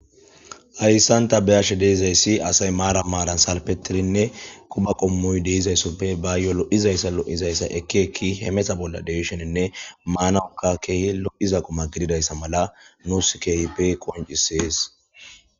Hayssanta beashe deezayssi asay maara maaran salpetirinne kuba qommuy deizayssoppe ba yolo'izayssa lo'izayssa ekkeekki hemeta bolla deshoninne maanaoka keehi lo'iza quma gididayssa mala nuus keehi pe qoncisees.